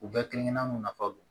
U bɛɛ kelen kelenna nafa don